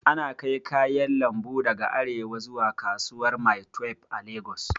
Ana kai kayan lambu daga arewa zuwa kasuwar maitwef a lagos